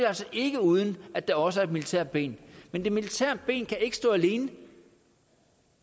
altså ikke uden at der også er et militært ben men det militære ben kan ikke stå alene